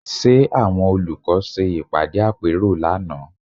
Ṣe àwọn olùkọ́ ṣe ìpàdé àpérò lánàá?